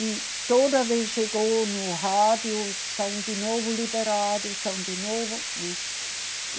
E toda vez chegou no rádio, são de novo liberados, são de novo, né?